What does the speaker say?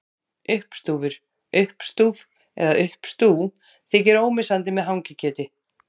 Uppstúfur, uppstúf eða uppstú þykir ómissandi með hangikjöti.